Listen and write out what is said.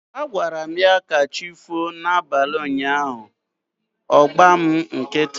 Agwaram ya 'kachifo' na abalị ụnyaahụ, ọ gba mụ nkịtị